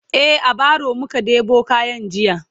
e a baro muka ɗebo kayan jiya